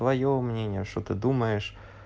твоё мнение что ты думаешь